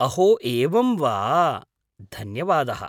अहो एवम् वा, धन्यवादः।